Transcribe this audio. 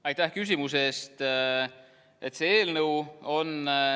Aitäh küsimuse eest!